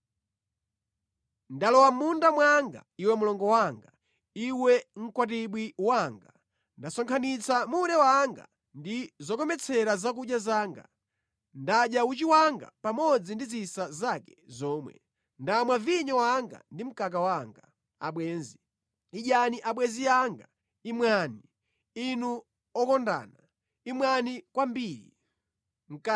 Ndalowa mʼmunda mwanga, iwe mlongo wanga, iwe mkwatibwi wanga; ndasonkhanitsa mure wanga ndi zokometsera zakudya zanga. Ndadya uchi wanga pamodzi ndi zisa zake zomwe; ndamwa vinyo wanga ndi mkaka wanga. Abwenzi Idyani abwenzi anga, imwani; Inu okondana, imwani kwambiri.